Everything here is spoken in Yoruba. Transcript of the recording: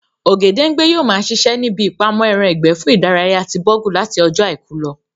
Ògèdèngbé yóò ma ṣiṣẹ́ ní ibi ìpamọ́ ẹran ìgbẹ́ fún ìdárayá ti Bọ̀rgú láti ọjọ́ àìkú lọ